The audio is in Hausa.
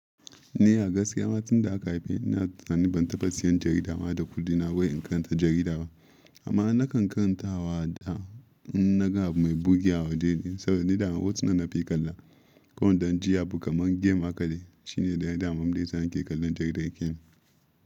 Ni a gaskiya, a gaskiya ma tun da aka haife ni na tsani ban tafa siyan jarida ma da kudi na wai in karanta jarida ba. Amma na kan karantawa da naga mai bugewa del, saboda ni da hotunan na fi kalla. Ka wai dan jiya kuma game aka yi, shi ne ɗayan itamaman da yana ke kallon daidai ken.